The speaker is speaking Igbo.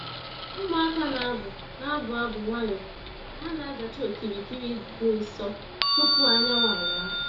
Ụmụaka na-abụ na-abụ abụ nwayọọ ka ha na-azacha okirikiri dị nsọ tupu anyanwụ awa.